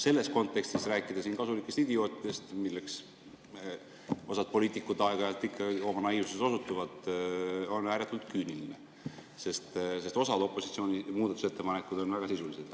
Selles kontekstis rääkida siin kasulikest idiootidest, kelleks osa poliitikuid aeg-ajalt ikka oma naiivsuses osutuvad, on ääretult küüniline, sest osa opositsiooni muudatusettepanekuid oli väga sisulised.